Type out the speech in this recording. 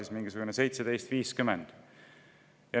– on mingisugune 17,50.